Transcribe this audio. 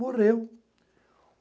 Morreu.